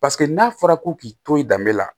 Paseke n'a fɔra ko k'i to i danbe la